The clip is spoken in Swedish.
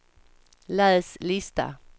läs lista